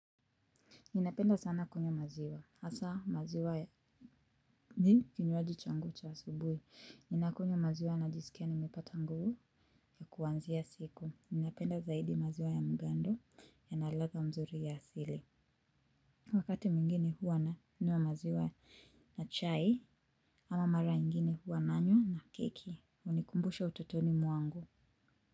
Ninapenda sana kwenye maziwa. Hasa maziwa ya ni kinywaji changu cha asubuhi. Ninakunywa maziwa najisikia nimepata nguvu ya kuanzia siku. Ninapenda zaidi maziwa ya mgando yana ladha mzuri ya asili. Wakati mwingini huwa na nunua maziwa ya chai ama mara ingini huwa nanywa na keki. Hunikumbusha ututoni mwangu.